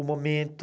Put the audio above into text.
Um momento...